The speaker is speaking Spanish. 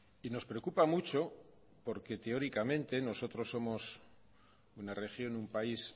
y nos preocupa mucho porque teóricamente nosotros somos una región un país